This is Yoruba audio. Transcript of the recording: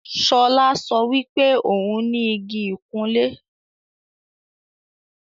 Ṣọlá sọ wípé òún ní Igi ìkunlé